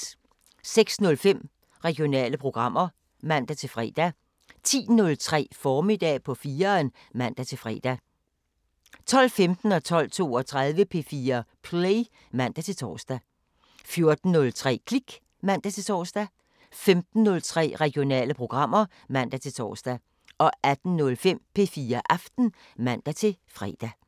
06:05: Regionale programmer (man-fre) 10:03: Formiddag på 4'eren (man-fre) 12:15: P4 Play (man-tor) 12:32: P4 Play (man-tor) 14:03: Klik (man-tor) 15:03: Regionale programmer (man-tor) 18:05: P4 Aften (man-fre)